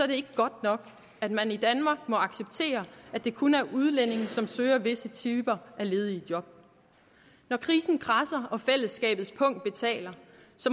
det ikke godt nok at man i danmark må acceptere at det kun er udlændinge som søger visse typer af ledige job når krisen kradser og fællesskabets pung betaler